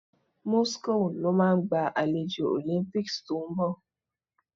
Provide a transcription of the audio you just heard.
Moscow lo máa gba àlejò Olympics to ń bọ